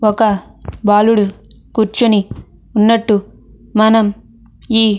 ఒక బాలుడు కూర్చొని ఉన్నట్టు మనం ఈ --